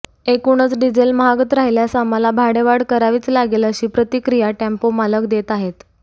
एकूणच डिझेल महागत राहिल्यास आम्हाला भाडेवाढ करावीच लागेल अशी प्रतिक्रिया टेम्पोमालक देत आहेत